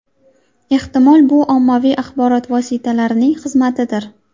Ehtimol, bu ommaviy axborot vositalarining xizmatidir.